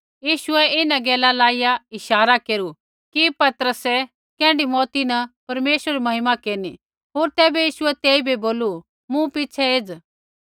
यीशुऐ इन्हां गैला लाईया इशारा केरू कि पतरस कैण्ढी मौउती न परमेश्वरै री महिमा केरनी होर तैबै यीशुऐ तेइबै बोलू मूँ पिछ़ै एज़